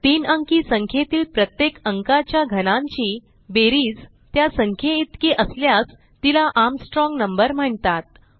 तीन अंकी संख्येतील प्रत्येक अंकाच्या घनांची बेरीज त्या संख्येइतकी असल्यास तिला आर्मस्ट्राँग नंबर म्हणतात